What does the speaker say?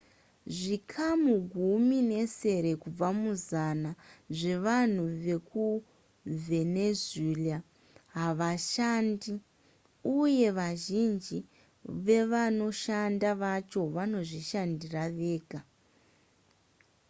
zvikamu gumi nesere kubva muzana zvevanhu vekuvenezuela havashandi uye vazhinji vevanoshanda vacho vanozvishandira vega